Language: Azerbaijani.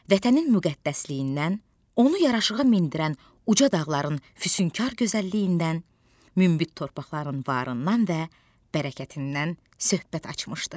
Vətənin müqəddəsliyindən, onu yaraşığa mindirən uca dağların füsunkar gözəlliyindən, münbit torpaqların varından və bərəkətindən söhbət açmışdı.